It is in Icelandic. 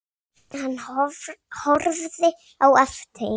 Hann horfði á eftir þeim.